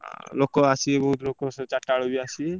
ଆଁ ଲୋକ ଆସିବେ ବହୁତ୍ ଲୋକ ସବୁ ଚାରିଟା ବେଳେ ବି ଆସିବେ।